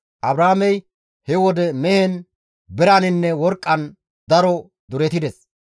Abraamey he wode mehen, biraninne worqqan daro duretides.